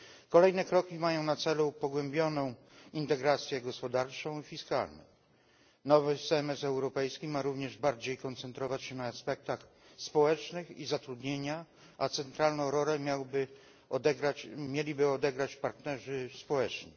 Kolejne kroki mają na celu pogłębioną integrację gospodarczą i fiskalną. Nowy semestr europejski ma również bardziej koncentrować się na aspektach społecznych i zatrudnienia, a centralną rolę mieliby odegrać partnerzy społeczni.